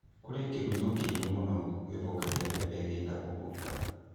Kũrĩ na kĩgunyũ kĩũru mũno gĩthũkagia mbembe gĩtagwo ngũũnga.